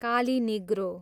Kali Negro